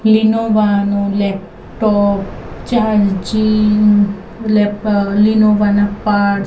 લીનોવા નો laptop charging લેપ અ લીનોવા ના પાર્ટસ --